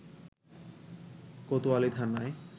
কোতয়ালী থানার